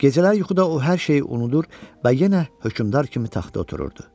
Gecələr yuxuda o hər şeyi unudur və yenə hökmdar kimi taxta otururdu.